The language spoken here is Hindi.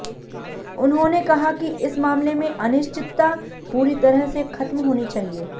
उन्होंने कहा कि इस मामले में अनिश्चितता पूरी तरह से खत्म होनी चाहिए